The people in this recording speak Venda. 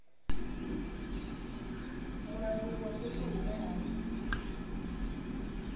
mulanguli wa fhethu hune ha